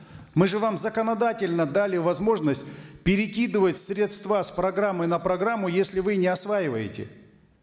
мы же вам законодательно дали возможность перекидывать средства с программы на программу если вы не осваиваете